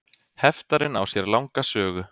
Heftarinn á sér langa sögu.